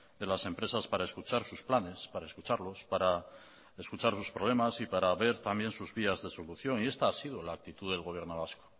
de las empresas para escuchar sus planes para escucharlos para escuchar sus problemas y para ver también sus vías de solución y esta ha sido la actitud del gobierno vasco